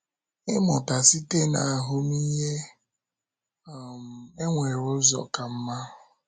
Ịmụta Site na Ahụmịhe: um E nwere Ụzọ Ka Mma